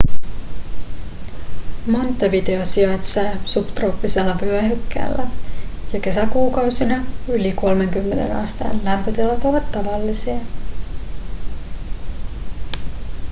montevideo sijaitsee subtrooppisella vyöhykkeellä ja kesäkuukausina yli 30 asteen lämpötilat ovat tavallisia